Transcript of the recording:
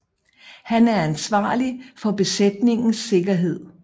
Han er ansvarlig for besætningens sikkerhed